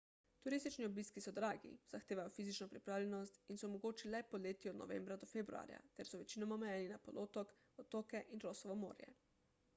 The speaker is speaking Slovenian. turistični obiski so dragi zahtevajo fizično pripravljenost in so mogoči le poleti od novembra do februarja ter so večinoma omejeni na polotok otoke in rossovo morje